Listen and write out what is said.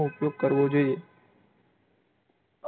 કરવો જોઇયે